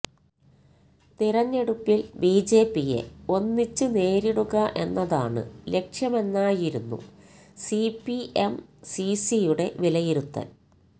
തിരഞ്ഞെടുപ്പിൽ ബിജെപിയെ ഒന്നിച്ച് നേരിടുക എന്നതാണ് ലക്ഷ്യമെന്നായിരുന്നു സിപിഎം സിസിയുടെ വിലയിരുത്തൽ